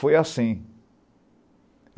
Foi assim.